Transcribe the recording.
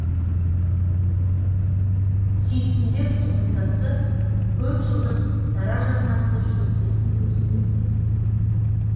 сүйсіндер тұқымдасы көп жылдық даражарнақты шөптесін өсімдіктер